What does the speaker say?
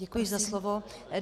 Děkuji za slovo.